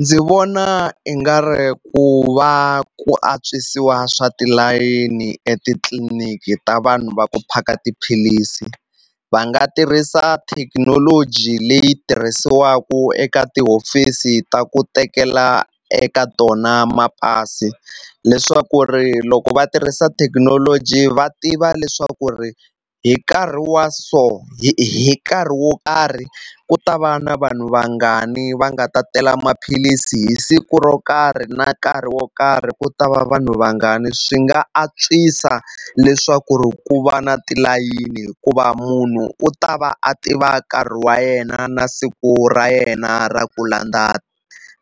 Ndzi vona i nga ri ku va ku antswisiwa swa tilayeni etitliniki ta vanhu va ku phaka tiphilisi va nga tirhisa thekinoloji leyi tirhisiwaku eka tihofisi ta ku tekela eka tona mapasi leswaku ri loko va tirhisa thekinoloji va tiva leswaku ri hi nkarhi wa so hi hi nkarhi wo karhi ku ta va na vanhu vangani va nga ta tela maphilisi hi siku ro karhi na nkarhi wo karhi ku ta va vanhu vangani swi nga antswisa leswaku ri ku va na tilayini hikuva munhu u ta va a tiva nkarhi wa yena na siku ra yena ra ku landza